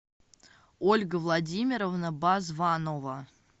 ольга владимировна базванова